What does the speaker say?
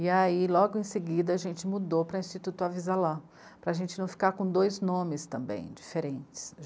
E aí, logo em seguida, a gente mudou para Instituto Avisa lá, para a gente não ficar com dois nomes também diferentes.